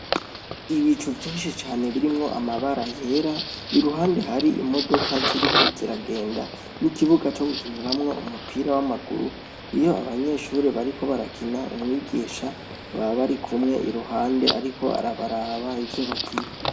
Ibicu vyinshi cane birimwo amabara yera , iruhande hari imodoka ziriko ziragenda ,n'ikibuga co gukiniramwo umupira w'amaguru ,iyo abanyeshure bariko barakina umwigisha baba barikumwe iruhande ariko arabaraba iruhande abaraba ivyo bakina.